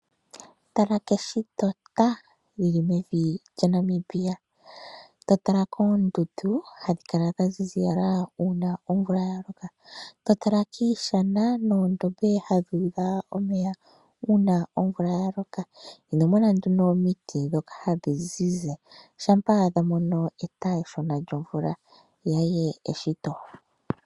Tala keshito lili mevi lyaNamibia totala koondundu hadhi kala dhaziziyala uuna omvula yaloko totala kiishana noondombe hadhi udha omeya uuna omvula yaloka. Inomona nduno omiti dhokahadhi zizi shampa dhamono eta eshona lyomvula.